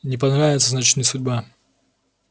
не понравится значит не судьба